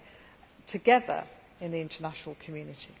have together in the international community.